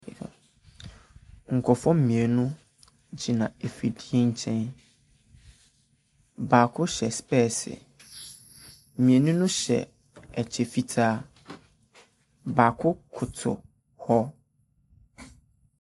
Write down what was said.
Nkurɔfoɔ mmienu gyina afidie nkyɛn. Baako hyɛ specs. Mmienu no hyɛ ɛkyɛ fitaa. Baako koto hɔ.